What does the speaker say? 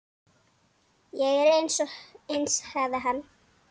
Ég er eins, sagði hann.